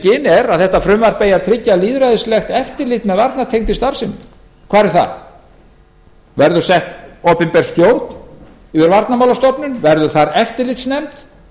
er að frumvarpið eigi að tryggja lýðræðislegt eftirlit með varnartengdri starfsemi hvar er það verður sett opinber stjórn yfir varnarmálastofnun verður þar eftirlitsnefnd